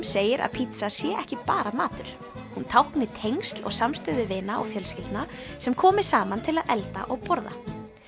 segir að pítsa sé ekki bara matur hún tákni tengsl og samstöðu vina og fjölskyldna sem komi saman til að elda og borða